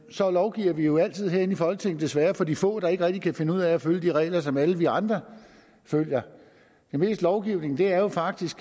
så lovgiver vi jo altid herinde i folketinget desværre for de få der ikke rigtig kan finde ud af at følge de regler som alle vi andre følger det meste lovgivning er jo faktisk